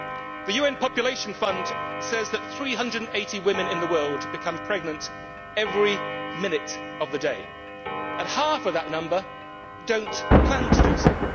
The UN population fund says that 380 women in the world become pregnant every minute of the day, and half of that number do not plan to do so.